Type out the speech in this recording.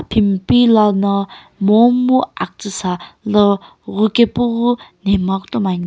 timpilou lo no momu aktsii sa lii ghopae keu ghi itomo ane.